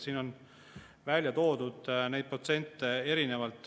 Siin on välja toodud erinevaid protsente.